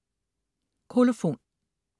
Kolofon